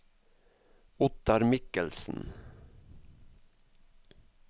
Ottar Mikkelsen